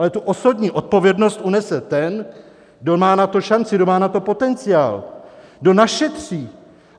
Ale tu osobní odpovědnost unese ten, kdo má na to šanci, kdo má na to potenciál, kdo našetří.